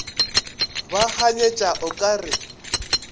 ba kganyetša o ka re